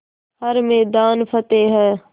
हर मैदान फ़तेह